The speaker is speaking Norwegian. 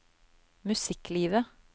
musikklivet